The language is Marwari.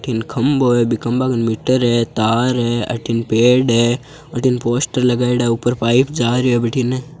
वठिन खम्भों है बी खम्बा कन मीटर है तार है अठीने पेड़ है वठिने पोस्टर लगायोड़ा है ऊपर पाइप जा रियो है वठिने।